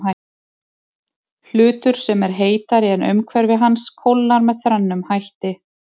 Hlutur sem er heitari en umhverfi hans kólnar með þrennum hætti.